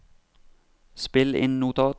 spill inn notat